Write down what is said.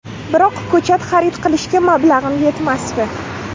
Biroq ko‘chat xarid qilishga mablag‘im yetmasdi.